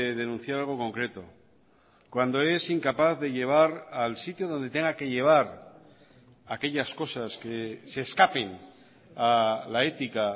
denunciar algo concreto cuando es incapaz de llevar al sitio donde tenga que llevar aquellas cosas que se escapen a la ética